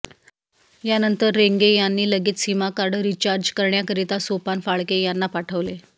यानंतर रेंगे यांनी लगेच सीमकार्ड रिचार्ज करण्याकरिता सोपान फाळके यांना पाठवले